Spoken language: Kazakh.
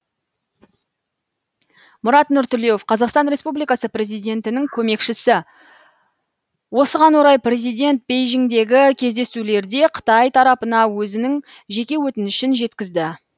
мұрат нұртілеуов қазақстан республикасы президентінің көмекшісі осыған орай президент бейжіңдегі кездесулерде қытай тарапына өзінің жеке өтінішін жеткізді